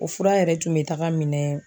O fura yɛrɛ tun bɛ taga minɛ